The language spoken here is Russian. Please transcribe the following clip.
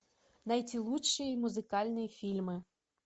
найти лучшие музыкальные фильмы